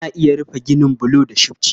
Ana iya rufe ginin bulu da shifci.